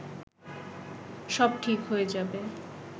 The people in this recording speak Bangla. সব ঠিক হয়ে যাবে